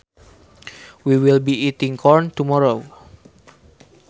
We will be eating corn tomorrow